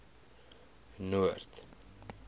noord